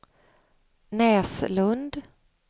Näslund